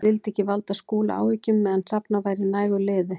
Ég vildi ekki valda Skúla áhyggjum meðan safnað væri nægu liði.